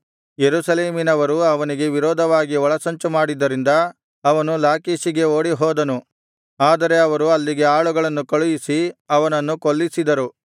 ಯೆರೂಸಲೇಮಿನವರು ಅವನಿಗೆ ವಿರೋಧವಾಗಿ ಒಳಸಂಚು ಮಾಡಿದ್ದರಿಂದ ಅವನು ಲಾಕೀಷಿಗೆ ಓಡಿಹೋದನು ಆದರೆ ಅವರು ಅಲ್ಲಿಗೆ ಆಳುಗಳನ್ನು ಕಳುಹಿಸಿ ಅವನನ್ನು ಕೊಲ್ಲಿಸಿದರು